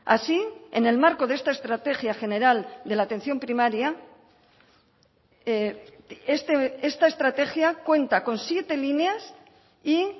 así en el marco de esta estrategia general de la atención primaria esta estrategia cuenta con siete líneas y